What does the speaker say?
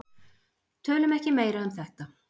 Tölum ekki meira um þetta.